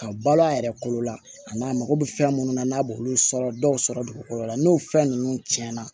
Ka balo a yɛrɛ kolo la a n'a mako bɛ fɛn minnu na n'a b'olu sɔrɔ dɔw sɔrɔ dugukolo la n'o fɛn ninnu cɛnna